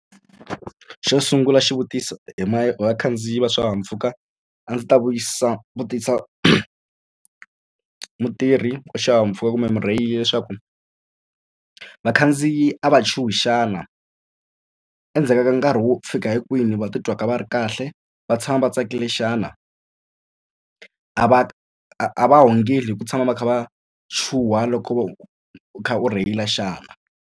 Xo sungula xivutiso hi ma hi vakhandziyi va swihahampfhuka a ndzi ta vutisa mutirhi wa xihahampfhuka kumbe murheyili leswaku vakhandziyi a va chuhi xana endzhaku ka nkarhi wo fika hi kwini va titwa ka va ri kahle va tshama va tsakile xana a va a va hungela hi ku tshama va kha va chuha loko u kha u rheyila xana.